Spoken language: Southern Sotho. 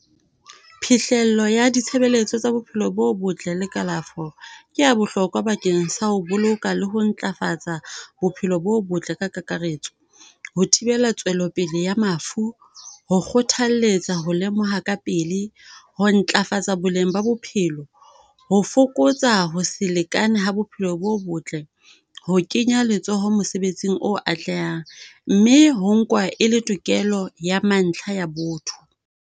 Phihlello ya ditshebeletso tsa Bophelo bo Botle le kalafo ke ya bohlokwa bakeng sa ho boloka le ho ntlafatsa bophelo bo botle ka kakaretso. Ho thibela tswelopele ya mafu, ho kgothalletsa ho lemoha ka pele. Ho ntlafatsa boleng ba bophelo. Ho fokotsa ho se lekane ha bophelo bo botle. Ho kenya letsoho mosebetsing o atlehang, mme ho nkwa e le tokelo ya mantlha ya botho.